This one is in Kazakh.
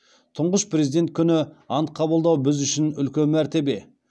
тұңғыш президент күні ант қабылдау біз үшін үлкен мәртебе